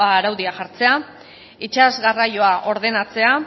araudia jartzea itsas garraioa ordenatzea